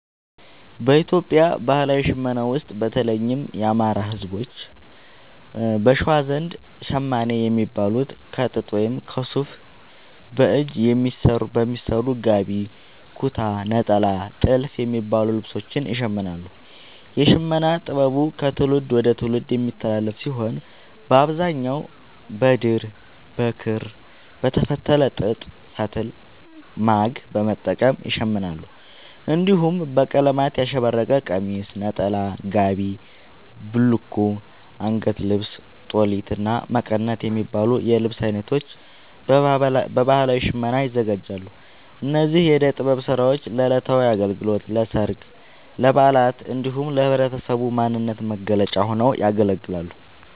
በኢትዮጵያ ባህላዊ ሽመና ውስጥ፣ በተለይም የአማራ፣ ህዝቦች(በሸዋ) ዘንድ ‘ሸማኔ’ የሚባሉት ከጥጥ ወይም ከሱፍ በእጅ በሚሰሩ ‘ጋቢ’፣ ‘ኩታ’፣ ‘ኔጣላ’ እና ‘ቲልፍ’ የሚባሉ ልብሶችን ይሽምናሉ። የሽመና ጥበቡ ከትውልድ ወደ ትውልድ የሚተላለፍ ሲሆን፣ በአብዛኛው በድር፣ በክር፣ በተፈተለ ጥጥ ፈትል(ማግ) በመጠቀም ይሸምናሉ። እንዲሁም በቀለማት ያሸበረቀ ቀሚስ፣ ነጠላ፣ ጋቢ፣ ቡልኮ፣ አንገት ልብስ(ጦሊት)፣እና መቀነት የሚባሉ የልብስ አይነቶችን በባህላዊ ሽመና ያዘጋጃሉ። እነዚህ የእደ ጥበብ ስራዎች ለዕለታዊ አገልግሎት፣ ለሠርግ፣ ለበዓላት እንዲሁም ለህብረተሰቡ ማንነት መገለጫ ሆነው ያገለግላሉ።